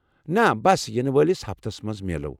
نہ، بس، یِنہٕ وٲلس ہفتس منٛز میلَو۔